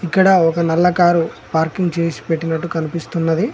ఇక్కడ ఒక నల్ల కారు పార్కింగ్ చేసి పెట్టినట్టు కనిపిస్తున్నది.